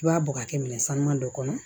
I b'a bɔ ka kɛ minɛn sanuman dɔ kɔnɔ